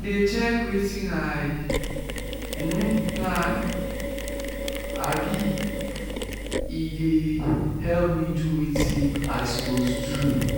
dey check wetin i um plan um e dey help me do wetin i suppose do